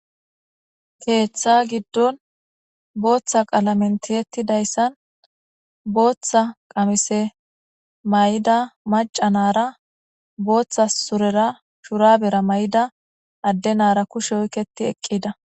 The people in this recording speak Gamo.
Keththa giddon boththa qaalamen tiyetidayssan boththa qaamise mayida maca nara boththa surere boththa shurabera mayida adde nara kushshe oqetti eeqida .